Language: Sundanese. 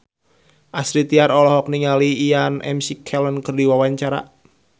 Astrid Tiar olohok ningali Ian McKellen keur diwawancara